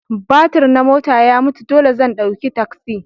Batir na mota ya mutu dole zan ɗauki taksi.